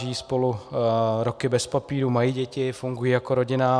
Žijí spolu roky bez papírů, mají děti, fungují jako rodina.